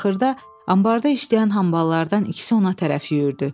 Axırda anbarda işləyən hamballardan ikisi ona tərəf yüyürdü.